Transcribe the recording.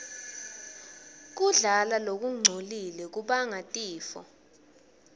kudla lokungcolile kubanga tifo